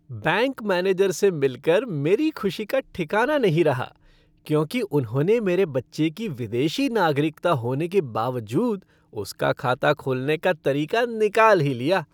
Bank manager से मिल कर मेरी खुशी का ठिकाना नहीं रहा क्योंकि उन्होंने मेरे बच्चे की विदेशी नागरिकता होने के बावजूद उसका खाता खोलने का तरीका निकाल ही लिया।